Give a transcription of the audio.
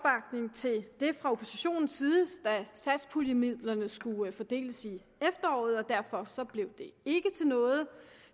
til det fra oppositionens side da satspuljemidlerne skulle fordeles i efteråret og derfor blev det ikke til noget